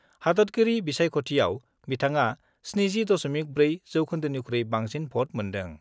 हादतगिरि बिसायख'थियाव बिथाङा 70.4 जौखोन्दोनिख्रुइ बांसिन भट मोन्दों।